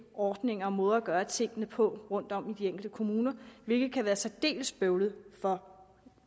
ordninger og måder at gøre tingene på rundtom i de enkelte kommuner hvilket kan være særdeles bøvlet for